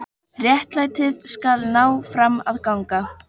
Réttlætið skal ná fram að ganga.